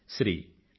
Shri D